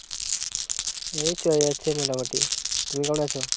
এই, চলে যাচ্ছে, মোটা মোটি, তুমি কেমন আছো?